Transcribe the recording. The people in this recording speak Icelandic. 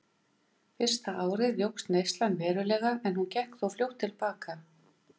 Fyrsta árið jókst neyslan verulega en hún gekk þó fljótt til baka.